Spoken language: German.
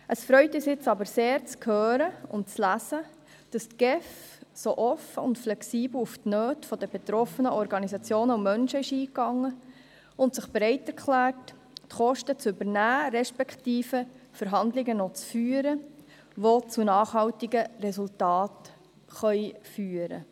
Es freut uns aber sehr, zu hören und zu lesen, wie die GEF so offen und flexibel auf die Nöte der betroffenen Organisationen und Menschen eingeht und sich dazu bereit erklärt, die Kosten zu übernehmen, respektive Verhandlungen zu führen, die in nachhaltige Resultate münden könnten.